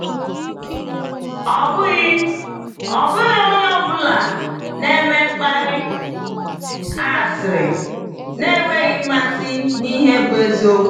Ọ bụghị Ọ bụghị onye ọ bụla na-eme mkparị asịrị na-enweghị mmasị n’ihe bụ eziokwu.